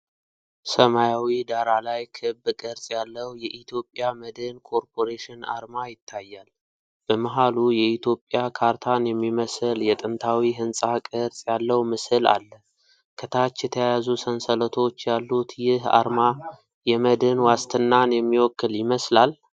ሰማያዊ ዳራ ላይ ክብ ቅርጽ ያለው የኢትዮጵያ መድን ኮርፖሬሽን አርማ ይታያል። በመሃሉ የኢትዮጵያ ካርታን የሚመስል የጥንታዊ ሕንጻ ቅርጽ ያለው ምስል አለ። ከታች የተያያዙ ሰንሰለቶች ያሉት ይህ አርማ የመድን ዋስትናን የሚወክል ይመስላል?